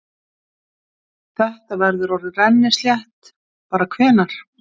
Þetta verður orðið rennislétt bara hvenær?